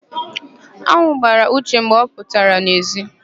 An̄ụ gbara Uche mgbe ọ pụrụ n'èzí.